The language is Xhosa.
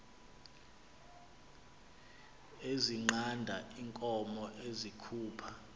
ezinqanda iinkomo ezikhupha